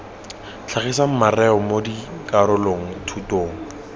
tlhagisang mareo mo dikarolo thutong